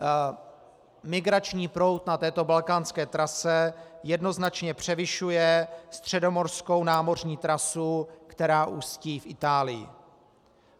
Migrační proud na této balkánské trase jednoznačně převyšuje středomořskou námořní trasu, která ústí v Itálii.